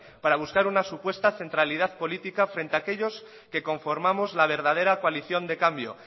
para buscar una supuesta centralidad política frente a aquellos que conformamos la verdadera coalición de cambio